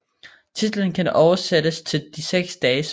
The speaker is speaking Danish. Titlen kan oversættes til De seks dages værk